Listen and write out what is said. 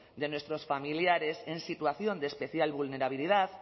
de nuestros familiares en situación de especial vulnerabilidad